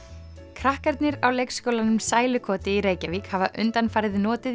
krakkarnir á leikskólanum sælukoti í Reykjavík hafa undanfarið notið